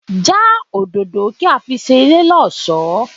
Já òdòdó kí á fi ṣe ilé lọ́sọ̀ọ́!